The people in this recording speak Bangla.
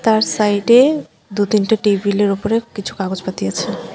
আর সাইড -এ দু-তিনটে টেবিল -এর উপরে কিছু কাগজপাতি আছে।